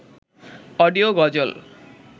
audio গজল